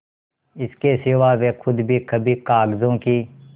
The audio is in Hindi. इसके सिवा वे खुद भी कभी कागजों की